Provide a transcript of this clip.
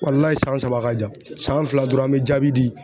san saba ka jan san fila dɔrɔn an mɛ jaabi di.